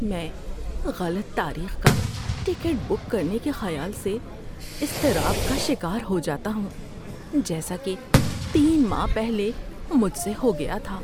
میں غلط تاریخ کا ٹکٹ بک کرنے کے خیال سے اضطراب کا شکار ہو جاتا ہوں جیسا کہ تین ماہ پہلے مجھ سے ہو گیا تھا۔